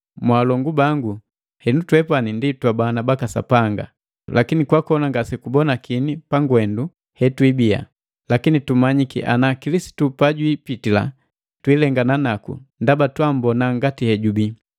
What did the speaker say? Mwaalongu bangu, henu twepani ndi twabana baka Sapanga, lakini kwakona ngase kubonakini pagwendu hetwiibia. Lakini tumanyiki ana, Kilisitu pajwiipitila, twiilengana naku ndaba twammbona ngati hejubii.